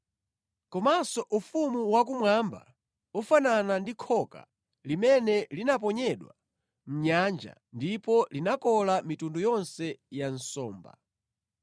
“Komanso Ufumu wakumwamba ufanana ndi khoka limene linaponyedwa mʼnyanja ndipo linakola mitundu yonse ya nsomba.